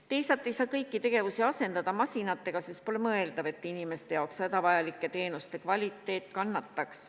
Teisalt ei saa kõiki tegevusi asendada masinatega, sest pole mõeldav, et inimeste jaoks hädavajalike teenuste kvaliteet kannataks.